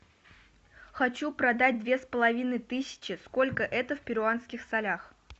хочу продать две с половиной тысячи сколько это в перуанских солях